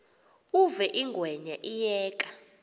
uve ingwenya iyeka